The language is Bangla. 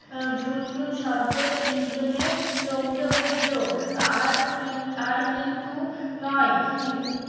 ঝুনঝুন শব্দ তিনজনের চমকে উঠলো আর কি আর কিন্তু নয়